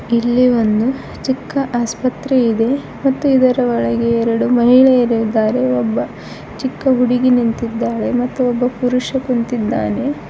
ಇಲ್ಲಿ ಒಂದು ಚಿಕ್ಕ ಆಸ್ಪತ್ರೆ ಇದೆ ಮತ್ತು ಇದರ ಒಳಗೆ ಎರಡು ಮಹಿಳೆಯರು ಇದ್ದಾರೆ ಒಬ್ಬ ಚಿಕ್ಕ ಹುಡುಗಿ ನಿಂತಿದ್ದಾಳೆ ಮತ್ತು ಒಬ್ಬ ಪುರುಷ ಕುಂತಿದ್ದಾನೆ.